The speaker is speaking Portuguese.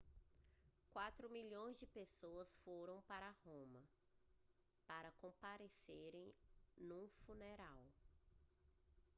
mais de 4 milhões de pessoas foram para roma para comparecerem no funeral